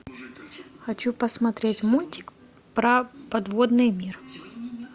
хочу посмотреть мультик про подводный мир